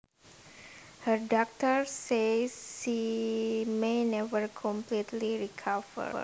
Her doctors say she may never completely recover